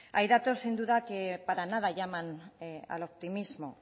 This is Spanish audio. hay datos sin duda que para nada llaman al optimismo